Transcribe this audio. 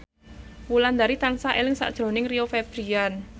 Wulandari tansah eling sakjroning Rio Febrian